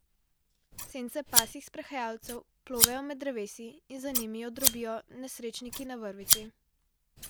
Sence pasjih sprehajalcev plovejo med drevesi in za njimi jo drobijo nesrečniki na vrvici.